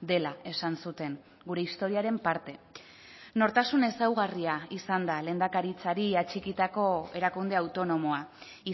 dela esan zuten gure historiaren parte nortasun ezaugarria izan da lehendakaritzari atxikitako erakunde autonomoa